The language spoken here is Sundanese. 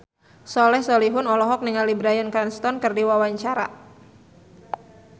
Soleh Solihun olohok ningali Bryan Cranston keur diwawancara